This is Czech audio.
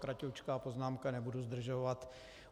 Kraťoučká poznámka, nebudu zdržovat.